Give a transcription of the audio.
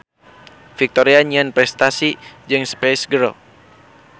Victoria nyieun prestasi jeung Spice Girls.